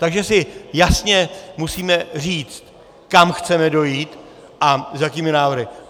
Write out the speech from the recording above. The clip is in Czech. Takže si jasně musíme říct, kam chceme dojít a s jakými návrhy.